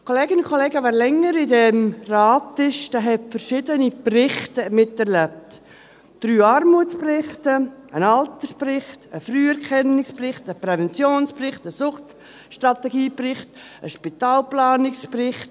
Kolleginnen und Kollegen, wer länger in diesem Rat ist, der hat verschiedene Berichte miterlebt: drei Armutsberichte, einen Altersbericht, einen Früherkennungsbericht, einen Präventionsbericht, einen Suchtstrategiebericht, einen Spitalplanungsbericht.